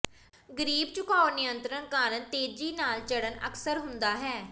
ਗਰੀਬ ਝੁਕਾਓ ਨਿਯੰਤ੍ਰਣ ਕਾਰਨ ਤੇਜ਼ੀ ਨਾਲ ਚੜ੍ਹਨ ਅਕਸਰ ਹੁੰਦਾ ਹੈ